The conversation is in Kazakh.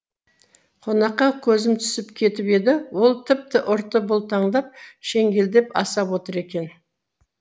қонаққа көзім түсіп кетіп еді ол тіпті ұрты бұлтыңдап шеңгелдеп асап отыр екен